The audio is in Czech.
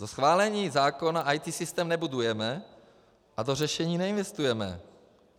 Do schválení zákona IT systém nebudujeme a do řešení neinvestujeme.